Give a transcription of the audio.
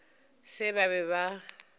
ba se ba be ba